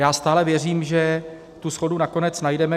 Já stále věřím, že tu shodu nakonec najdeme.